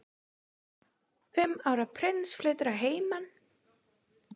Fimm ára prins flytur að heiman